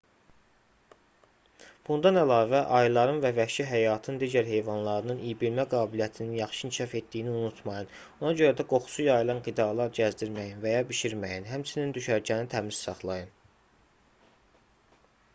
bundan əlavə ayıların və vəhşi həyatın digər heyvanlarının iybilmə qabiliyyətinin yaxşı inkişaf etdiyini unutmayın ona görə də qoxusu yayılan qidalar gəzdirməyin və ya bişirməyin həmçinin düşərgəni təmiz saxlayın